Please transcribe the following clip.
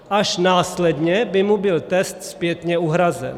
Až následně by mu byl test zpětně uhrazen.